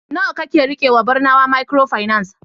nawa kake rikewa Barnawa microfinance